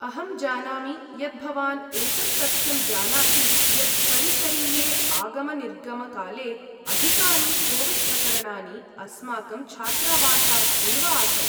अहं जानामि यत् भवान् एतत् तथ्यं जानाति यत् परिसरीये आगमनिर्गमकाले अधिकानि कोविड्प्रकरणानि अस्माकं छात्रावासात् एव आसन्।